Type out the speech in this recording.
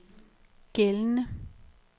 gældende